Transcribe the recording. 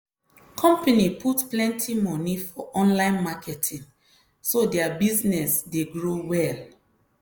company put plenty moni for online marketing so their business dey grow well.